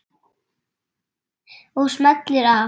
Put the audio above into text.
Og smellir af.